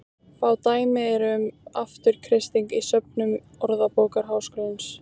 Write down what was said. Fá dæmi eru um afturkreisting í söfnum Orðabókar Háskólans.